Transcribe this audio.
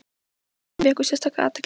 Er eitthvað sem vekur sérstaka athygli?